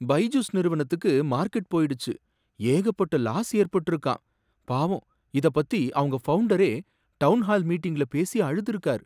பைஜுஸ் நிறுவனத்துக்கு மார்கெட் போயிடுச்சு, ஏகப்பட்ட லாஸ் ஏற்பட்டிருக்காம். பாவம், இத பத்தி அவங்க ஃபவுண்டரே டவுன்ஹால் மீட்டிங்ல பேசி அழுதுருக்கார்.